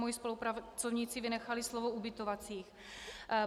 Moji spolupracovníci vynechali slovo "ubytovacích".